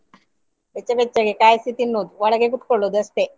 ಬೆಚ್ಚ ಬೆಚ್ಚಗೆ ಕಾಯಿಸಿ ತಿನ್ನುವುದು ಒಳಗೆ ಕುತ್ಕೊಳ್ಳುವುದು ಅಷ್ಟೇ.